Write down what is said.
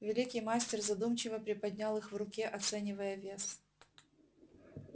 великий мастер задумчиво приподнял их в руке оценивая вес